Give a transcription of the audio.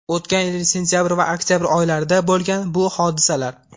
O‘tgan yil sentabr va oktabr oylarida bo‘lgan bu hodisalar.